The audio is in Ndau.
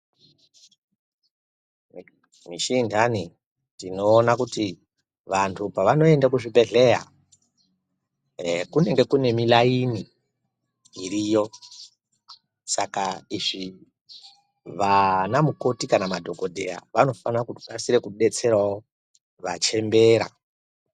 Mushi intani tinoona kuti vanthu pavanoende kuzvibhedhleya kunenge kuine milaini iriyo saka izvi vana mukoti kana madhokodheya vanofana kukasika kudetserawo vachembera.